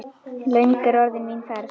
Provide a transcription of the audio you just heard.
Löng er orðin mín ferð.